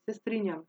Se strinjam.